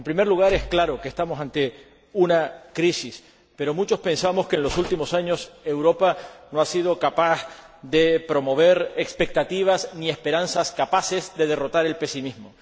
En primer lugar, es evidente que estamos ante una crisis, pero muchos pensamos que, en los últimos años, Europa no ha sido capaz de promover expectativas ni esperanzas capaces de derrotar el pesimismo.